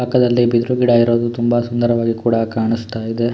ಪಕ್ಕದಲ್ಲೇ ಬಿದಿರು ಗಿಡ ಇರುವುದು ತುಂಬಾ ಸುಂದರವಾಗಿ ಕೂಡ ಕಾಣಿಸ್ತ ಇದೆ.